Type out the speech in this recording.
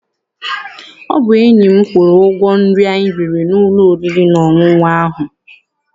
Ọ bụ enyi m kwụrụ ụgwọ nri anyi riri n'ụlọ oriri na ọṅụṅụ ahụ.